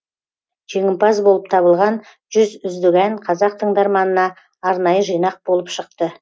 жеңімпаз болып табылған жүз үздік ән қазақ тыңдарманына арнайы жинақ болып шықты